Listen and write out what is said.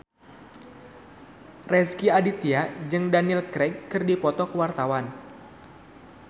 Rezky Aditya jeung Daniel Craig keur dipoto ku wartawan